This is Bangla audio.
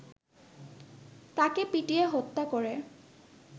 তাকে পিটিয়ে হত্যা করে